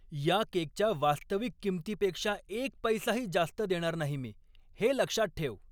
या केकच्या वास्तविक किंमतीपेक्षा एक पैसाही जास्त देणार नाही मी! हे लक्षात ठेव!